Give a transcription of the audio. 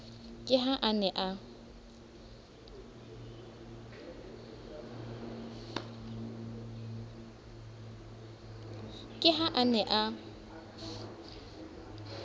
ke ha a ne a